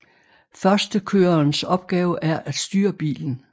Førstekørerens opgave er at styre bilen